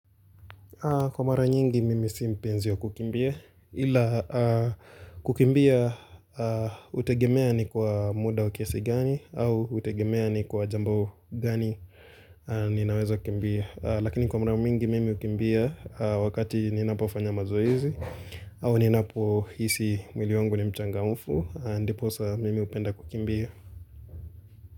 Kwa mara nyingi mimi si mpenzi wa kukimbia ila kukimbia hutegemea ni kwa muda wa kiasi gani au hutegemea ni kwa jambo gani ninaweza kukimbia. Lakini kwa mara mingi mimi hukimbia wakati ninapofanya mazoezi au ninapohisi mwili wangu ni mchangamfu ndiposa mimi hupenda kukimbia.